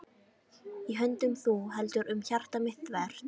Í höndum þú heldur um hjarta mitt þvert.